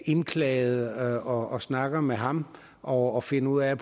indklagede og snakker med ham og og finder ud af